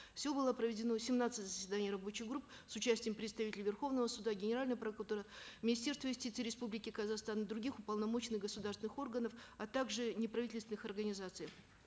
всего было проведено семнадцать заседаний рабочих групп с участием представителей верховного суда генеральной прокуратуры министерства юстиции республики казахстан и других уполномоченных государственных органов а также неправительственных организаций